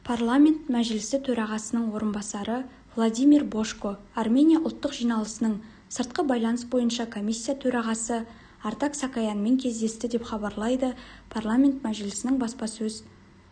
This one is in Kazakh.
парламент мәжілісітөрағасының орынбасары владимир божко армения ұлттық жиналысының сыртқы байланыс бойынша комиссия төрағасы артак саакаянмен кездесті деп хабарлайды парламент мәжілісінің баспасөз